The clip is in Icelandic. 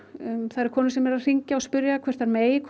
það eru konur sem eru að hringja og spyrja hvort þær megi